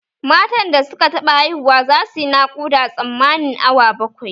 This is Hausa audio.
Matan da suka taɓa haihu za suyi nakuda tsammanin awa bakwai